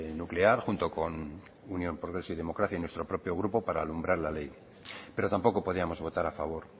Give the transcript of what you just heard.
nuclear junto con unión progreso y democracia y nuestro propio grupo para alumbrar la ley pero tampoco podíamos votar a favor